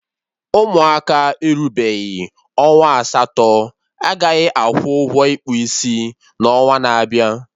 Ụmụaka erubeghị ọnwa asatọ agaghị akwụ ụgwọ ịkpụ isi n'onwa na-abịa